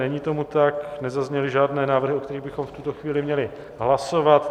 Není tomu tak, nezazněly žádné návrhy, o kterých bychom v tuto chvíli měli hlasovat.